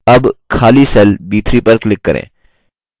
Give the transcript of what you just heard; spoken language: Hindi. अब खाली cell b3 पर click करें